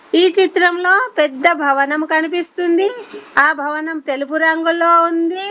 ఈ చిత్రంలో పెద్ద భవనం కనిపిస్తుంది ఆ భవనం తెలుపు రంగులో ఉంది.